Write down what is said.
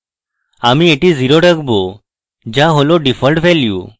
আমরা এটি 0 রাখবো যা হল ডিফল্ট value